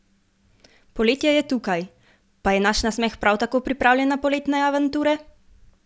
Poletje je tukaj, pa je naš nasmeh prav tako pripravljen na poletne avanture?